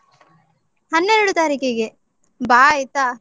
ಹನ್ನೆರಡು ತಾರೀಖಿಗೆ. ಬಾ ಆಯ್ತಾ?